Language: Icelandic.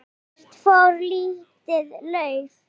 Hvert fór lítið lauf?